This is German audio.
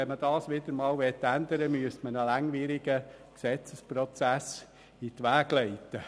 Wenn man das wieder einmal ändern will, müsste man einen langwierigen Gesetzesprozess in die Wege leiten.